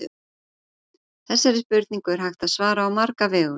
Þessari spurningu er hægt að svara á marga vegu.